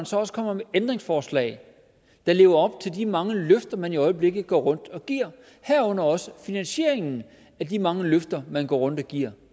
så også kommer med ændringsforslag der lever op til de mange løfter man i øjeblikket går rundt og giver herunder også finansieringen af de mange løfter man går rundt og giver